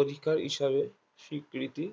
অধিকার হিসাবে স্বীকৃতি